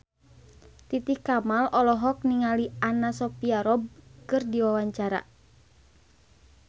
Titi Kamal olohok ningali Anna Sophia Robb keur diwawancara